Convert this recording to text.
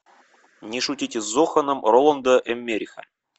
не шутите с зоханом роланда эммериха